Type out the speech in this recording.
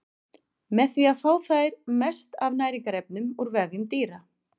Með því fá þær mest af næringarefnum úr vefjum dýra.